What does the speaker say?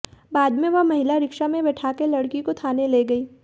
बाद में वह महिला रिक्शा में बिठाकर लड़की को थाने ले गई